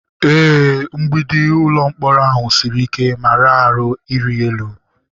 Ee, mgbidi ụlọ mkpọrọ ahụ siri ike ma raa ahụ ịrị elu.